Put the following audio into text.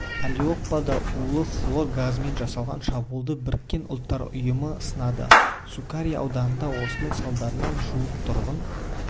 алеппода улы хлор газымен жасалған шабуылды біріккен ұлттар ұйымы сынады сукари ауданында осының салдарынан жуық тұрғын